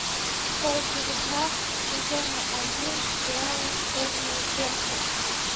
часть девятнадцать сезона один сериала черное зеркало